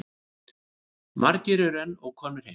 Margir eru enn ókomnir heim.